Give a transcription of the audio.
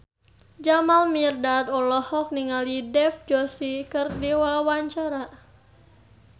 Jamal Mirdad olohok ningali Dev Joshi keur diwawancara